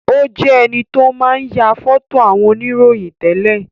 Ó jẹ enito máa ń ya foto àwọn ìròyìn tẹ́lẹ̀